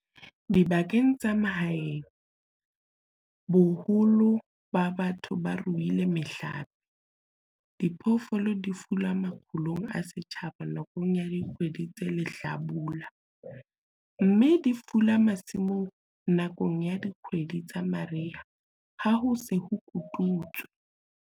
Dibakeng tsa mahaeng, boholo ba batho bo ruile mehlape - diphoofolo di fula makgulong a setjhaba nakong ya dikgwedi tsa lehlabula, mme di fula masimong nakong ya dikgwedi tsa mariha ha ho se ho kotutswe.